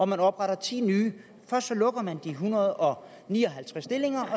man opretter ti nye først lukker man en hundrede og ni og halvtreds stillinger